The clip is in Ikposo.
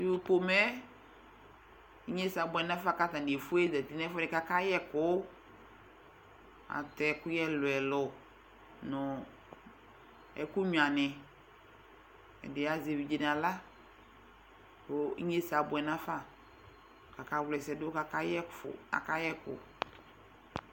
tʋ pomɛɛ inyesɛ abuɛ nafa katani ezati nɛfʋɛdi ka akayɛ ɛkʋʋ atɛ ɛkʋyɛ lʋɛlʋ nu ɛkʋ nyuani ɛdini azɛ evidze nala kʋ enyesɛ abuɛ nafa kaka ɣlʋa ɛsɛdʋ akayɛ kʋ